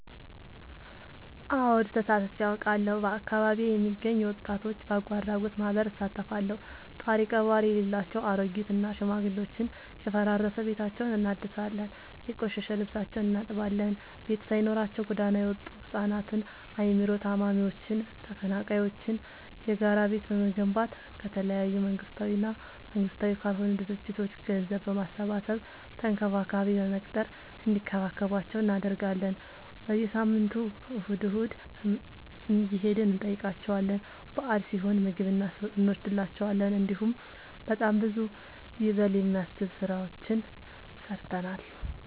አወድ ተሳትፊ አውቃለሁ። በአካቢዬ የሚገኝ የወጣቶች በጎአድራጎት ማህበር እሳተፋለሁ። ጦሪቀባሪ የሌላቸው አሬጊት እና ሽማግሌዎችን የፈራረሰ ቤታቸውን እናድሳለን፤ የቆሸሸ ልብሳቸውን እናጥባለን፤ ቤት ሳይኖራቸው ጎዳና የወጡቱ ህፃናትን አይምሮ ታማሚዎችን ተፈናቃይዎችን የጋራ ቤት በመገንባት ከተለያዩ መንግስታዊ እና መንግስታዊ ካልሆኑ ድርጅቶች ገንዘብ በማሰባሰብ ተንከባካቢ በመቅጠር እንዲከባከቧቸው እናደርጋለን። በየሳምንቱ እሁድ እሁድ እየሄድን እንጠይቃቸዋለን በአል ሲሆን ምግብ እኖስድላቸዋለን። እንዲሁም በጣም ብዙ ይበል የሚያስብ ስራዎችን ሰርተናል።